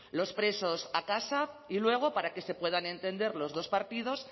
los presos a casa y luego para que se puedan entender los dos partidos